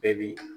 Bɛɛ b'i